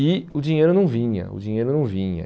E o dinheiro não vinha, o dinheiro não vinha.